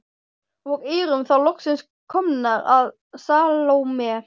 Og erum þá loksins komnar að Salóme.